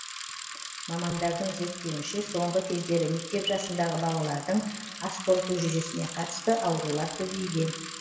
мамандардың зерттеуінше соңғы кездері мектеп жасындағы балалардың ас қорыту жүйесіне қатысты аурулар көбейген